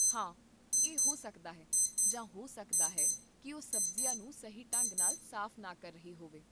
ਹਾਂ, ਇਹ ਹੋ ਸਕਦਾ ਹੈ ਜਾਂ ਹੋ ਸਕਦਾ ਹੈ ਕਿ ਉਹ ਸਬਜ਼ੀਆਂ ਨੂੰ ਸਹੀ ਢੰਗ ਨਾਲ ਸਾਫ਼ ਨਾ ਕਰ ਰਹੀ ਹੋਵੇ